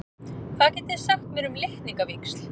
Hvað getið þið sagt mér um litningavíxl?